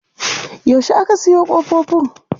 Yaushe aka sayo ƙofofin.